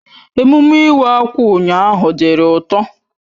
Emume Iwa akwa ụnyaahụ diri ụtọ.